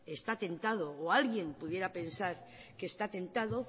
está tentado o alguien pudiera pensar que está tentado